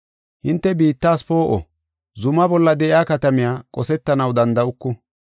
“Hinte biittas poo7o; zuma bolla de7iya katamiya qosetanaw danda7uku.